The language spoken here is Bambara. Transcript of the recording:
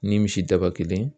Ni misidaba kelen